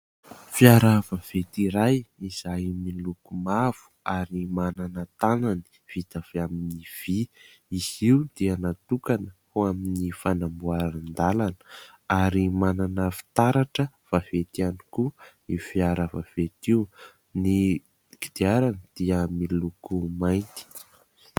Fiara vaventy iray izay miloko mavo ary manana tanany vita avy amin'ny vy. Izy io dia natokana ho amin'ny fanamboaran-dàlana ary manana fitaratra vaventy ihany koa io fiaravavety io ; ny kodiarany dia miloko mainty.